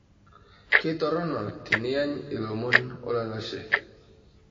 Keitorono tiniany ilomon olalashe.